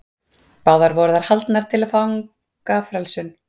báðar voru þær haldnar til að fagna frelsun